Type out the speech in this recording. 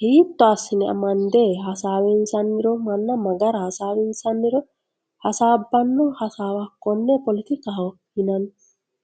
hiitto assine amande hasaawinsanniro manna ma gara hasaawinsanniro hasaabbanno hasaawa konne poletikaho yinanni.